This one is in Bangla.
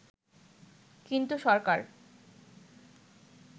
কিন্তু সরকার